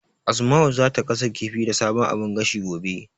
Asma'u zata gasa kifi da sabon abun gashin, gobe.